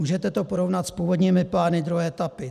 Můžete to porovnat s původními plány druhé etapy?